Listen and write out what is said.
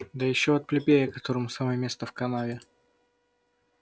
да ещё от плебея которому самое место в канаве